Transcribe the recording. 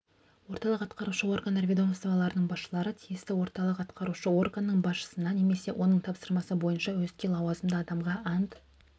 орталық атқарушы органдар ведомстволарының басшылары тиісті орталық атқарушы органның басшысына немесе оның тапсырмасы бойынша өзге лауазымды адамға ант